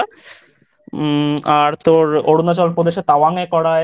উম আর তোর অরুণাচল প্রদেশে তাওয়াঙ্গে করায়।